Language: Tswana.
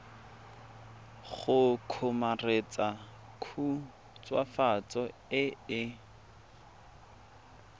go kgomaretsa khutswafatso e e